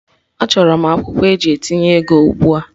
Achọrọ m akwụkwọ eji etinye ego ugbua!